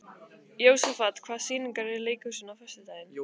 Jósafat, hvaða sýningar eru í leikhúsinu á föstudaginn?